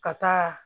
Ka taa